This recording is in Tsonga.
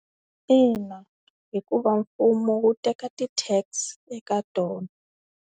Ina hikuva mfumo wu teka ti-tax eka tona.